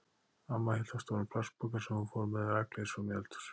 Amma hélt á stórum plastpoka sem hún fór með rakleiðis fram í eldhús.